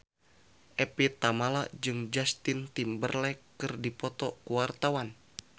Evie Tamala jeung Justin Timberlake keur dipoto ku wartawan